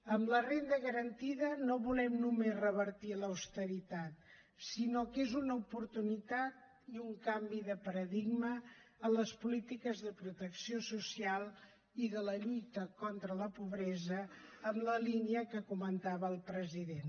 amb la renda garantida no volem només revertir l’austeritat sinó que és una oportunitat i un canvi de paradigma en les polítiques de protecció social i de la lluita contra la pobresa en la línia que comentava el president